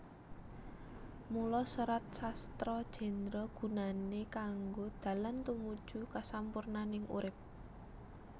Mula Serat Sastra Jendra gunané kanggo dalan tumuju kasampurnaning urip